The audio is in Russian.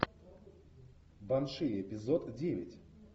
банши эпизод девять